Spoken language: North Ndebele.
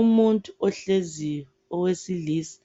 Umuntu ohleziyo owesilisa